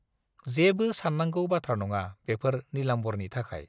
जेबो सान्नांगौ बाथ्रा नङा बेफोर नीलाम्बरनि थाखाय।